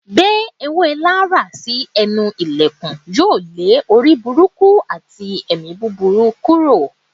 Gbé èwé Laraa si enú ìlèkùn, yóò le orí búrúkú atí èmí búburú kúrò.